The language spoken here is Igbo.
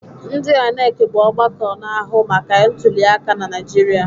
Ndi INEC bụ ọgbakọ na-ahụ maka ntuliaka na Naịjirịa.